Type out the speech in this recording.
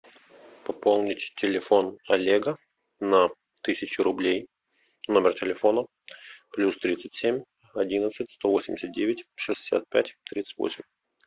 пополнить телефон олега на тысячу рублей номер телефона плюс тридцать семь одиннадцать сто восемьдесят девять шестьдесят пять тридцать восемь